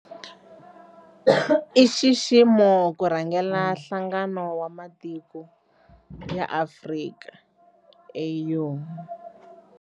I nxiximo ku rhangela Nhlangano wa Matiko ya Afrika, AU.